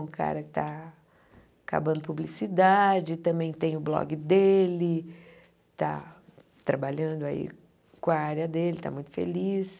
Um cara que está acabando publicidade, também tem o blog dele, está trabalhando aí com a área dele, está muito feliz.